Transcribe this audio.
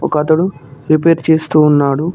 ఒక అతడు రిపేర్ చేస్తూ ఉన్నాడు.